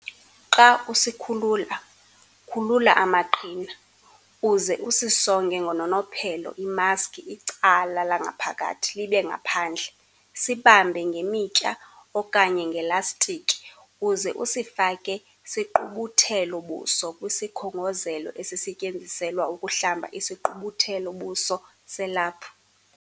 Xa usikhulula, khulula amaqhina, uze usisonge ngononophelo imaski icala langaphakathi libe ngaphandle, sibambe ngemitya okanye ngelastikhi uze usifake sigqubuthelo-buso kwisikhongozelo esisetyenziselwa ukuhlamba isigqubuthelo-buso selaphu.